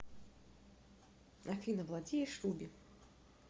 афина владеешь руби